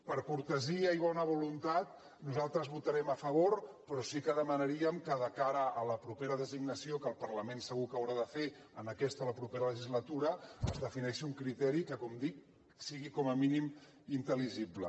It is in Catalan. per cortesia i bona voluntat nosaltres hi votarem a favor però sí que demanaríem que de cara a la propera designació que el parlament segur que haurà de fer en aquesta o a la propera legislatura es defineixi un criteri que com dic sigui com a mínim intel·ligible